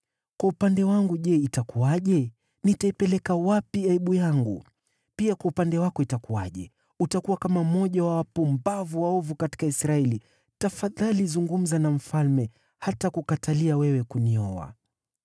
Kwa upande wangu je, itakuwaje? Nitaipeleka wapi aibu yangu? Pia kwa upande wako, itakuwaje? Utakuwa kama mmoja wa wapumbavu waovu katika Israeli. Tafadhali zungumza na mfalme; hatakukatalia wewe kunioa,”